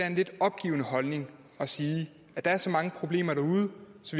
en lidt opgivende holdning at sige at der er så mange problemer derude